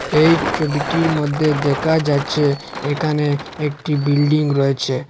এই ছবিটির মধ্যে দেকা যাচ্চে এখানে একটি বিল্ডিং রয়েচে।